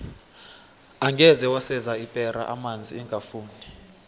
angeze waseza ipera amanzi ingafuni